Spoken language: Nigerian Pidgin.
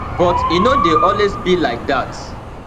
but e no dey always be like dat